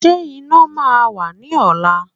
Ṣé iná máa wà ní ọ̀la?